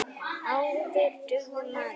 Áður dugði maður.